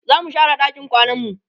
zamu share ɗakin kwananmu